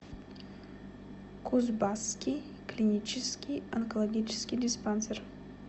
кузбасский клинический онкологоческий диспансер